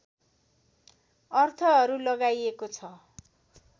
अर्थहरू लगाइएको छ